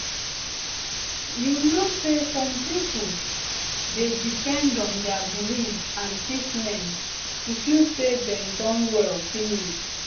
you know say some pipo dey depend on dia belief and treatment to feel say dem don well finish